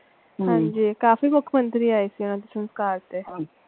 ਹਾਂਜੀ ਕਾਫੀ ਮੁੱਖਮੰਤਰੀ ਆਏ ਸੀ ਓਹਨਾ ਦੇ ਸਸਕਾਰ ਤੇ।